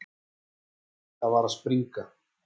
Lilla var að springa.